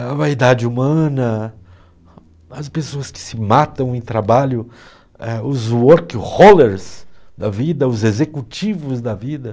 A vaidade humana, as pessoas que se matam em trabalho, os work-rollers da vida, os executivos da vida.